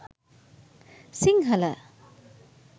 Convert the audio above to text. sinhala